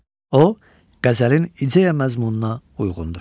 O qəzəlin ideya məzmununa uyğundur.